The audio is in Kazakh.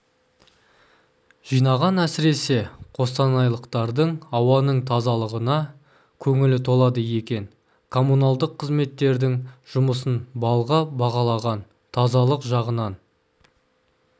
жинаған әсіресе қостанайлықтардың ауаның тазалығына көңілі толады екен коммуналдық қызметтердің жұмысын балға бағалаған тазалық жағынан